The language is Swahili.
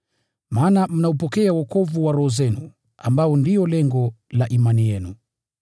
Maana mnaupokea wokovu wa roho zenu, ambao ndio lengo la imani yenu.